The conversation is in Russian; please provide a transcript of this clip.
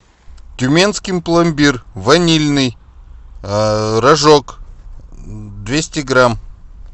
тюменский пломбир ванильный рожок двести грамм